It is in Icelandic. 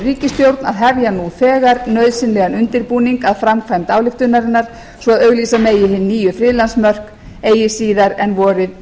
ríkisstjórn að hefja nú þegar nauðsynlegan undirbúning að framkvæmd ályktunarinnar svo að auglýsa megi hin nýju friðlandsmörk eigi síðar en vorið